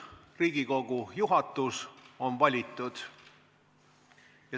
Uus Riigikogu juhatus on valitud.